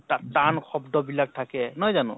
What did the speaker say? টান শব্দবিলাক থাকে, নহয় জানো ?